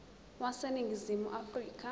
wase ningizimu afrika